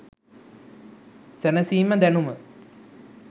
සැනසීම දැනුම